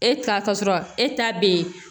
E ta ka sɔrɔ e ta be yen